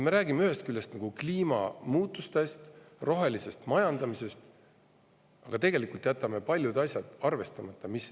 Me räägime ühest küljest nagu kliimamuutustest, rohelisest majandamisest, aga tegelikult jätame paljud asjad arvestamata.